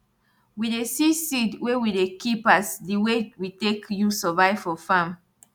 we dey see seed wey we dey keep as di way we take use survive for farm